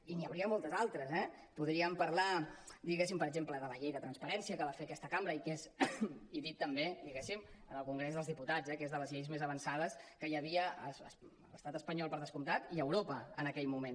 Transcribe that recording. i n’hi hauria moltes altres eh podríem parlar per exemple de la llei de transparència que va fer aquesta cambra i que és i dit també en el congrés dels diputats eh de les lleis més avançades que hi havia a l’estat espanyol per descomptat i a europa en aquell moment